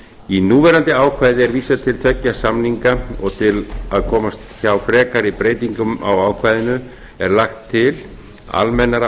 í núverandi ákvæði er vísað til tveggja samninga og til að komast hjá frekari breytingum á ákvæðinu er lagt til almennara